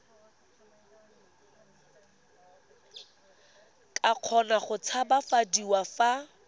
ka kgona go tshabafadiwa fa